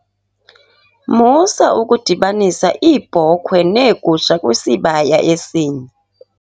Musa ukudibanisa iibhokhwe neegusha kwisibaya esinye.